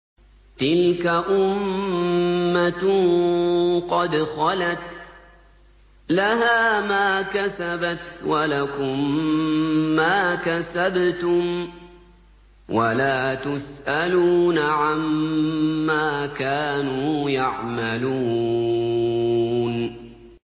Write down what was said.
تِلْكَ أُمَّةٌ قَدْ خَلَتْ ۖ لَهَا مَا كَسَبَتْ وَلَكُم مَّا كَسَبْتُمْ ۖ وَلَا تُسْأَلُونَ عَمَّا كَانُوا يَعْمَلُونَ